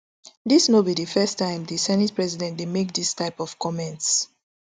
dis no be di first time di senate president dey make dis type of comments